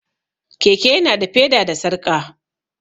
Keke ya na da feda da sarƙa